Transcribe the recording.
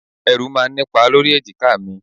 Ẹrù máa ń nipa lórí èjìká mi.